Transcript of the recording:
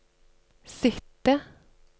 sitte